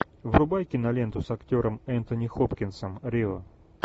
врубай киноленту с актером энтони хопкинсом рио